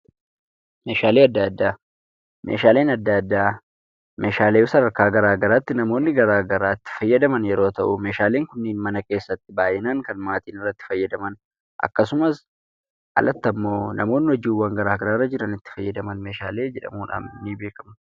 Meeshalee adda addaa: Meeshaaleen adda addaa meeshaalee sadarkaa gara garaatti namoonni gara garaa itti fayyadamaan yeroo ta'u, meshaleen kunnen mana keessatti baay'inaan kan maatiin irrattibfaayadamaan akkasumaas alaatti immoo hojii gara garaaf itti faayadamaan meeshaalee jedhamuudhaan ni beekamu.